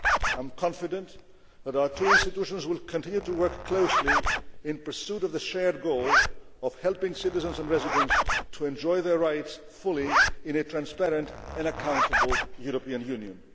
task. I am confident that our two institutions will continue to work closely in pursuit of the shared goal of helping citizens and residents to enjoy their rights fully in a transparent and accountable European Union.